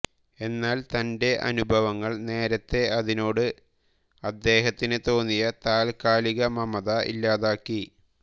എന്നാൽ തന്റെ അനുഭവങ്ങൾ നേരത്തെ അതിനോട് അദ്ദേഹത്തിന് തോന്നിയ താത്കാലിക മമത ഇല്ലാതാക്കി